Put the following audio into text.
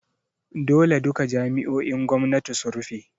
Dole duka jami’o’in gwamnati su rufe!